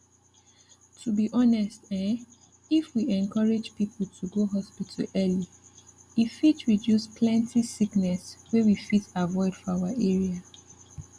to be honest ehm if we encourage people to go hospital early e fit reduce plenty sickness wey we fit avoid for our area